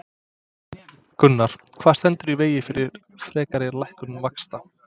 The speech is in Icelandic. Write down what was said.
Gunnar: Hvað stendur í vegi fyrir frekari lækkun vaxta?